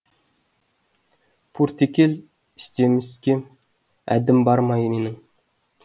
пуртекел істемеске әддім бармай менің